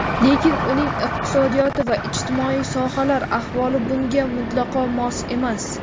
Lekin uning iqtisodiyoti va ijtimoiy sohalar ahvoli bunga mutlaqo mos emas.